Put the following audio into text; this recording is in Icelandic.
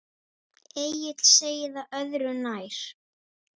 Egill segir það öðru nær.